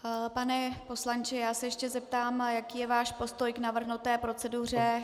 Pane poslanče, já se ještě zeptám, jaký je váš postoj K navržené proceduře.